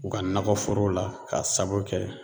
U ka nakɔ foro la k'a sabu kɛ